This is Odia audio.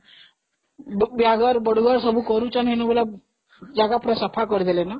ବାହାଘର ବଡଘର ସବୁ କରୁଛନ୍ତି ଏବେସବୁ, ଜାଗା ସବୁ ସଫା କରିସାରିଲେଣି ନା